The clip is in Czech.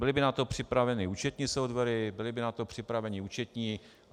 Byly by na to připraveny účetní softwary, byli by na to připraveni účetní.